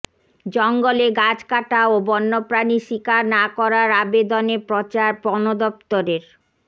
জঙ্গলে গাছ কাটা ও বন্যপ্রাণী শিকার না করার আবেদনে প্রচার বনদপ্তরের